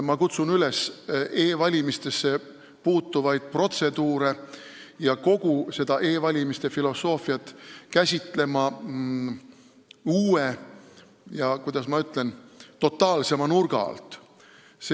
Ma kutsun üles e-valimisesse puutuvaid protseduure ja kogu e-valimise filosoofiat käsitlema uue ja, kuidas ma ütlen, totaalsema nurga alt.